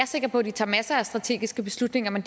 sikker på at de tager masser af strategiske beslutninger men